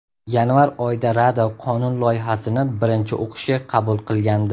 Yanvar oyida Rada qonun loyihasini birinchi o‘qishga qabul qilgandi.